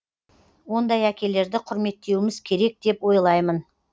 ондай әкелерді құрметтеуіміз керек деп ойлаймын